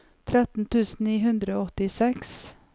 tretten tusen ni hundre og åttiseks